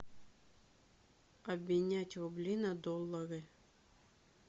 обменять рубли на доллары